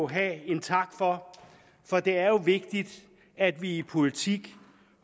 have en tak for for det er jo vigtigt at vi i politik